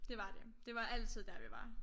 Det var det. Det var altid dér vi var